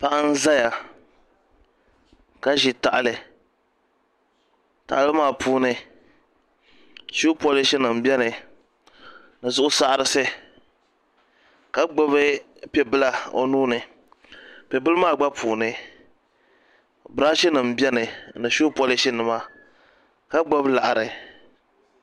Paɣa n ʒɛya ka ʒi tahali tahali maa puuni shuu polish nim biɛni ni zuɣu saɣarisi ka gbubi piɛ bila o nuuni piɛ bili maa gba puuni birash nim biɛni ni shuu polish nima ka gbubi laɣari